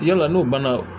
Yala n'o banna